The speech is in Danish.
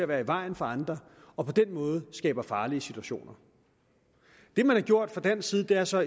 være i vejen for andre og på den måde skaber farlige situationer det man har gjort fra dansk side er så